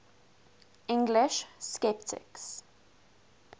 english sceptics